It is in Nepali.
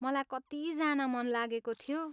मलाई कति जान मन लागेको थियो।